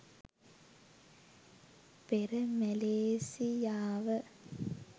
පෙර මැලේසියාව